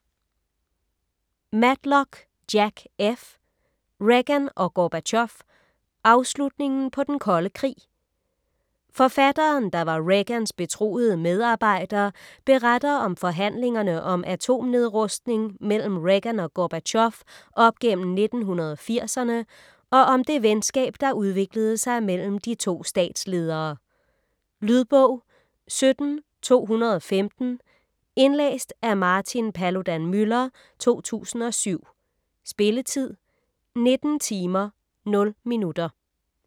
Matlock, Jack F.: Reagan og Gorbatjov: afslutningen på den kolde krig Forfatteren, der var Reagans betroede medarbejder, beretter om forhandlingerne om atomnedrustning mellem Reagan og Gorbatjov op gennem 1980'erne og om det venskab der udviklede sig mellem de to statsledere. Lydbog 17215 Indlæst af Martin Paludan-Müller, 2007. Spilletid: 19 timer, 0 minutter.